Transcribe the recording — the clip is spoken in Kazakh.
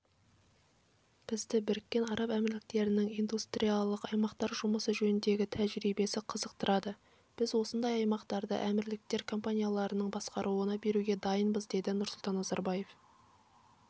бізді біріккен араб әмірліктерінің индустриялық аймақтар жұмысы жөніндегі тәжірибесі қызықтырады біз осындай аймақтарды әмірліктер компанияларының басқаруына беруге дайынбыз деді нұрсұлтан назарбаев